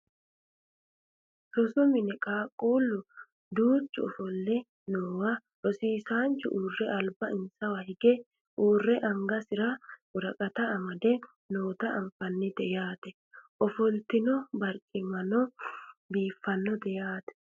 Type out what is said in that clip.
rosu mine qaaqquullu duuchu ofolle noowa rosisaanchu uurre alba insawa hige uurre angasira woraqata amade noota anfannite yaate ofollitino wonbareno dibiiffinote yaate